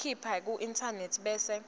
khipha kuinternet bese